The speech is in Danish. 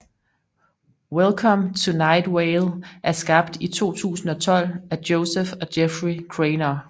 Welcome To Night Vale er skabt i 2012 af Joseph og Jeffrey Craynor